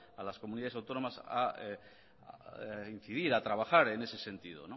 a las comunidades autónomas a incidir a trabajar en ese sentido